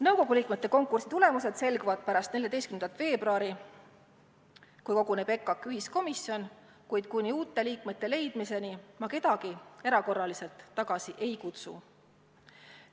Nõukogu liikmete konkursi tulemused selguvad pärast 14. veebruari, kui koguneb EKAK-i ühiskomisjon, kuid kuni uute liikmete leidmiseni ma kedagi erakorraliselt tagasi ei kutsu.